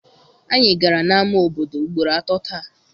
Anyị gara na-ama obodo ugboro atọ taa.